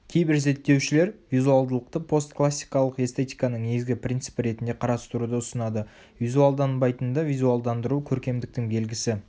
кейбір зерттеушілер визуалдылықты постклассикалық эстетиканың негізгі принципі ретінде қарастыруды ұсынады визуалданбайтынды визуалдандыру көркемдіктің белгісі